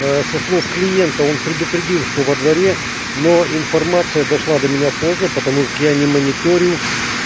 со слов клиента он предупредил что во дворе но информация дошла до меня поздно потому как я не мониторю